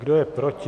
Kdo je proti?